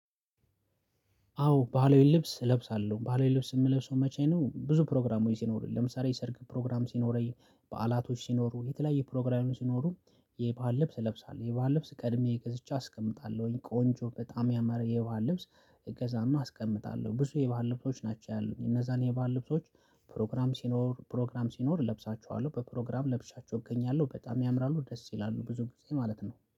አዎ ባህላዊ ልብስ እለብሳለሁ ባህላዊ ልብስ የምለብሰው መቼ ነው ብዙ ፕሮግራም ስኖረኝ ለምሳሌ ሰርግ ፕሮግራም ሲኖረኝ በዓላቶች ሲኖሩ የተለያየ ፕሮግራሙን ሲኖሩ የባህል ልብስ ለብሳለሁ የባህል ልብስ ቀድሜ ገዝቼ አስቀምጣለሁኝ ቆንጆ በጣም ያመረ የባህል ልብስ እገዛለሁ አስቀምጣለሁ ብዙ የባህል ልብሶች ናቸው ያሉኝ እነዛን የባህር ልብሶች ፕሮግራም ሲኖር ፕሮግራም ሲኖር ለብሳቸዋለሁ በፕሮግራም ለብሻቸው እገኛለሁ በጣም ያምራሉ ደስ ይላሉ ብዙ ጊዜ ማለት ነው